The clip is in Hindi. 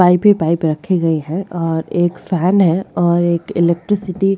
पाइप पे पाइप रखी गयी है और एक फॅन है और एक इलेक्ट्रिसिटी --